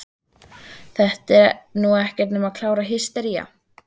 Þetta er nú ekkert nema klára hystería!